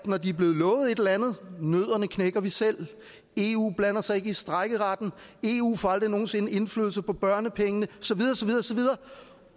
når de er blevet lovet et eller andet nødderne knækker vi selv eu blander sig ikke i strejkeretten eu får aldrig nogen sinde indflydelse på børnepengene